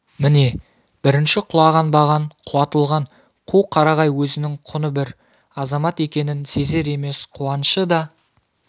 міне бірінші құлаған баған құлатылған қу қарағай өзінің құны бір азамат екенін сезер емес қуанышы да